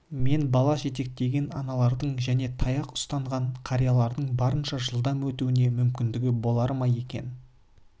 мен бала жетектеген аналардың және таяқ ұстанған қариялардың барынша жылдам өтуіне мүмкіндігі болар ма екен